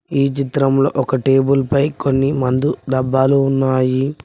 ఈ చిత్రంలో ఒక టేబుల్ పై కొన్ని మందు డబ్బాలు ఉన్నాయి.